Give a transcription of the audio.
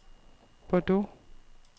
Bordeaux